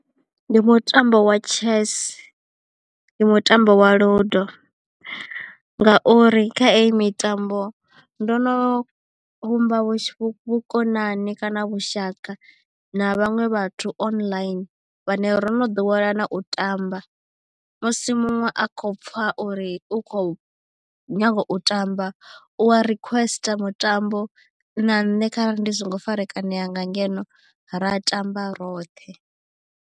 Ndi mutambo wa chess, ndi mutambo wa ludo, ngauri kha i mitambo ndo no vhumba vhukonani kana vhushaka na vhaṅwe vhathu online vhane ro no ḓowelana u tamba. Musi muṅwe a kho pfha uri u khou nyaga u tamba u wa requester mutambo na nṋe kharali ndi songo farekanea nga ngeno ra tamba roṱhe.